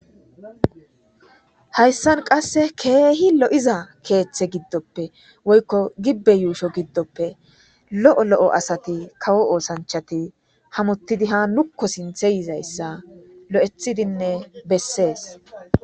hayssan qasse keehi lo7iza keeththe giddoppe woykko gibbe yuusho giddoppe lo7o lo7o asati kawo oosanchati hamottidi ha nukko sinthe yizayssa lo7ethidinne bessees